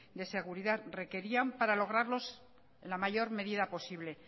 de seguridad requerían para lograrlos en la mayor medida posible